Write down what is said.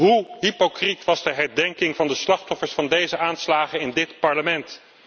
Hoe hypocriet was de herdenking van de slachtoffers van deze aanslagen in dit Parlement?